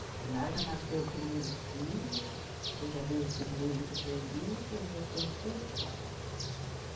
Aí lá já nasceu o primeiro filho, depois já veio o segundo que eu perdi, depois veio o terceiro e o quarto.